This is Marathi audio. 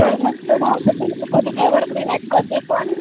कधीपण तू ऐकलेस तुला छानच वाटणार.